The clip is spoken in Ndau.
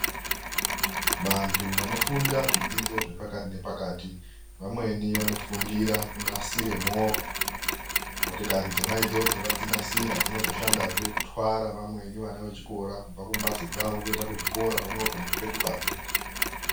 Vantu vanofunda zvidzidzo zvepakati nepakati, vamweni vanofundira kunasira movha. Motokari dzonaidzodzo vadzinasira dzinozoshandazve kutwara vamweni vana vechikora kubva kumbatso dzavo kuenda kuzvikora pamwepo nekupetukazve.